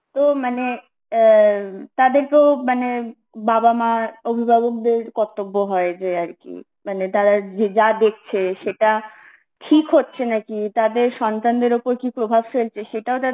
তো মানে এ তাদেরকেও মানে বাবা-মা অভিভাবকদের কর্তব্য হয়েছে কি মানে তারা যে যা দেখছে সেটা ঠিক হচ্ছে না কি তাদের সন্তানদের ওপর কি প্রভাব ফেলছে সেটাও তাদের